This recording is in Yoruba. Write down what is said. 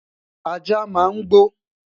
ajá máa ń gbo